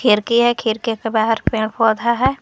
खिड़की है खिड़की के बाहर पेड़ पौधा है।